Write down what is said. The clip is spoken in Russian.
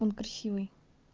он красивый